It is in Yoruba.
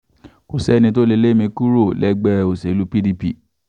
kò sẹ́ni tó lè lé mi kúrò lẹ́gbẹ́ òṣèlú pdp